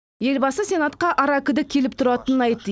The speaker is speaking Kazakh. елбасы сенатқа аракідік келіп тұратынын айтты